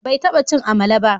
Bai taba cin amala ba.